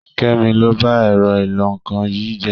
Kẹ́mi ló ba ẹ̀rọ ìlọ-nǹkan yìí jẹ́.